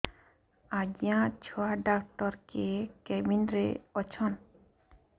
ଆଜ୍ଞା ଛୁଆ ଡାକ୍ତର କେ କେବିନ୍ ରେ ଅଛନ୍